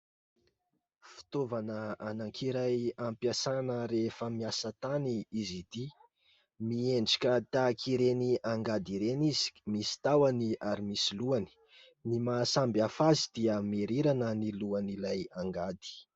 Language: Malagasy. Fitaovana anankiray ampiasana rehefa miasa tany izy ity. Miendrika tahaka ireny angady ireny izy misy tahony, ary misy lohany. Ny mahasamy hafa azy dia mirirana ny lohan'ilay angady.